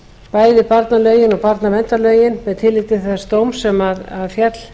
bæði barnalögin og barnaverndarlögin með tilliti til þess dóms sem féll